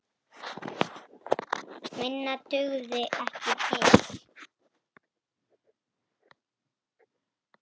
Minna dugði ekki til.